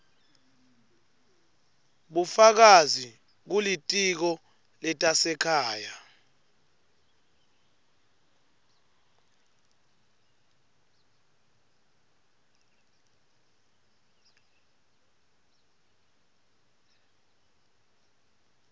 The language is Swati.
bufakazi kulitiko letasekhaya